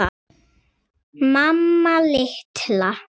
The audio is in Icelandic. Mamma litla!